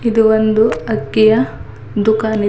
ಇದು ಒಂದು ಅಕ್ಕಿಯ ದುಕಾನ್ ಇದೆ--